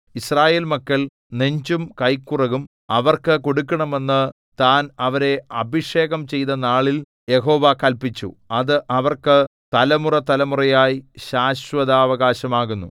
യിസ്രായേൽ മക്കൾ നെഞ്ചും കൈക്കുറകും അവർക്ക് കൊടുക്കണമെന്നു താൻ അവരെ അഭിഷേകം ചെയ്തനാളിൽ യഹോവ കല്പിച്ചു അത് അവർക്ക് തലമുറതലമുറയായി ശാശ്വതാവകാശം ആകുന്നു